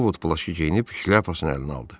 Ovod plaşı geyinib şlyapasını əlinə aldı.